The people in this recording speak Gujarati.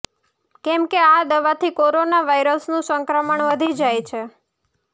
કેમકે આ દવાથી કોરોના વાયરસનું સંક્રમણ વધી જાય છે